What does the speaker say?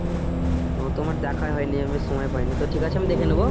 ও তোমার দেখাই হয়নি, আমি সময় পায়নি তো ঠিক আছে আমি দেখে নেবো।